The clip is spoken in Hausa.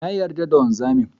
Na yarda da wanzamin.